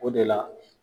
O de la